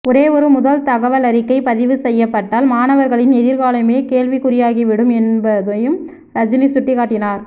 ஒரே ஒரு முதல் தகவல் அறிக்கை பதிவு செய்யப்பட்டால் மாணவர்களின் எதிர்காலமே கேள்விக்குறியாகிவிடும் என்பதையும் ரஜினி சுட்டிக்காட்டினார்